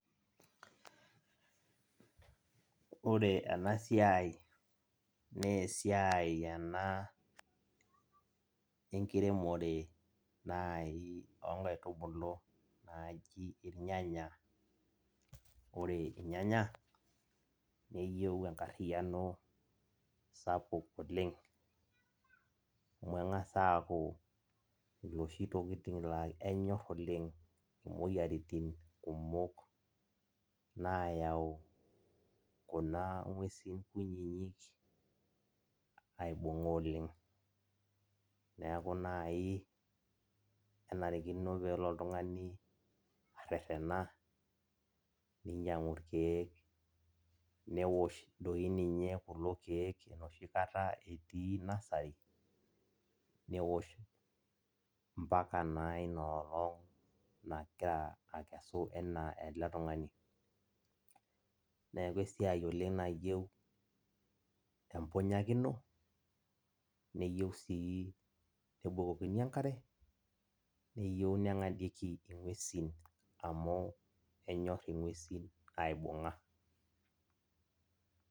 Ore enasiai na esiai ena enkiremore nai onkaitubulu naji irnyanya, ore irnyanya neyieu enkariano sapuk oleng amu kengasa aaku loshi tokitin enyor oleng omoyiaritin kumok nayau kuna ngwesi kunyinyik aibunga oleng neaku kenarikino nelo oltungani arerena ninyangu irkiek, newosh tiinye kulo kiek enoshi kata etii nusrery newosh mbaka naa inaolong nagira akesu ana eletungani neaku esiai nayieu empunyakino neyiu si nebukokini enkare neyieu si ningadieki ngwesi amu kenyor ngwesin aibunga.